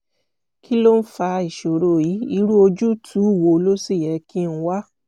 kí ló ń fa ìṣòro yìí irú ojútùú wo ló sì yẹ kí n wá?